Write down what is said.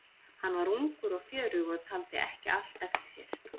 Hann var ungur og fjörugur og taldi ekki allt eftir sér.